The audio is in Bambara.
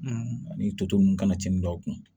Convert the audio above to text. ani toto ninnu kana cɛni dɔw kun